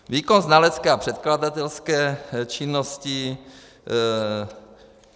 Výkon znalecké a předkladatelské činnosti.